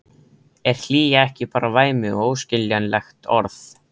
Er hlýja ekki bara væmið og óskiljanlegt orð?